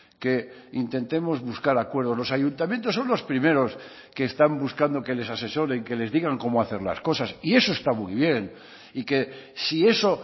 que intentemos buscar acuerdos los ayuntamientos son los primeros que están buscando que les asesoren que les digan cómo hacer las cosas y eso está muy bien y que si eso